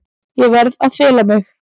Ég verð að fela mig.